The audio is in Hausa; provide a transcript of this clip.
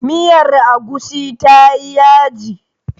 Miyar agushi tayi yaji.